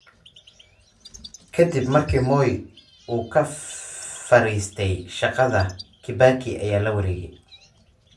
Ka dib markii Moi uu ka fariistay shaqada, Kibaki ayaa la wareegay.